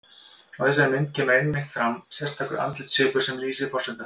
Á þessari mynd kemur einmitt fram sérstakur andlitssvipur sem lýsir forsetanum.